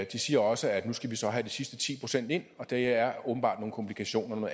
de siger også at nu skal vi så have de sidste ti procent ind og der er åbenbart nogle komplikationer og